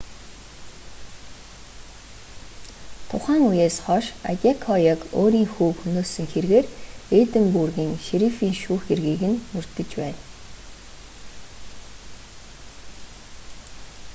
тухайн үеэс хойш адекояг өөрийн хүүг хөнөөсөн хэргээр эдинбургийн шерифийн шүүхэд хэргийг нь мөрдөж байна